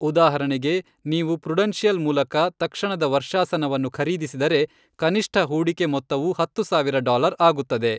ಉದಾಹರಣೆಗೆ, ನೀವು ಪ್ರುಡೆನ್ಶಿಯಲ್ ಮೂಲಕ ತಕ್ಷಣದ ವರ್ಷಾಶನವನ್ನು ಖರೀದಿಸಿದರೆ, ಕನಿಷ್ಠ ಹೂಡಿಕೆ ಮೊತ್ತವು ಹತ್ತು ಸಾವಿರ ಡಾಲರ್ ಆಗುತ್ತದೆ.